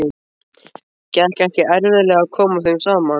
Gekk ekki erfiðlega að koma þeim saman?